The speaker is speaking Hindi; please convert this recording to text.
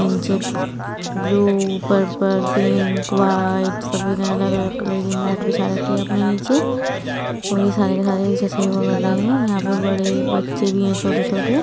नीचे ब्लू (blue) पर्पल (purple) पिंक (pink) वाइट सभी ने अलग- अलग कलर की मैट बिछा रखी हैं अपने नीचे और ये सारे के सारे एक जैसा ही योगा कर रहे हैं यहाँ पे बड़े बच्चे भी हैं छोटे छोटे |